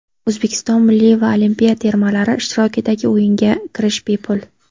O‘zbekiston milliy va olimpiya termalari ishtirokidagi o‘yinga kirish bepul.